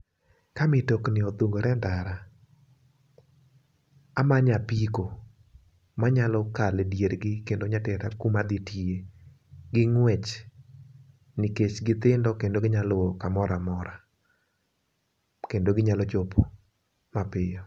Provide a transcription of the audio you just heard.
Ka mitokni odhungore endara amanyo apiko ma nyalo kale diergi kendo nya tera kama adhi tiye gi ng'wech, nikech githindo kendo ginyalo luwo kamoro amora kendo ginyalo chopo mapiyo.